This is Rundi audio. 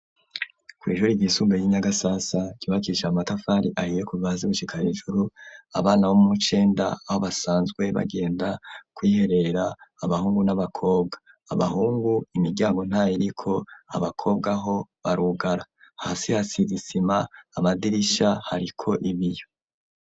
Kw'ishuri ryisumbuye ry'i Nyagasasa ryubakisha amatafari ahiye kuva hasi gushika hejuru, abana bo mu w'icenda aho basanzwe bagenda kwiherera abahungu n'abakobwa, abahungu imiryango ntayiriko, abakobwa ho barugara, hasi hasize isima, amadirisha hariko ibiyo.